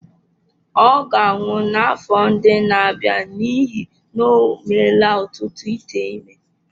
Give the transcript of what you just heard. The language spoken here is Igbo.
Ọ ga-anwụ n’afọ ndị na-abịa n’ihi na o meela ọtụtụ ite ime.